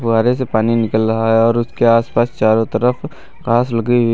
फव्वारे से पानी निकल रहा है और उसके आसपास चारों तरफ कांच लगी हुई है।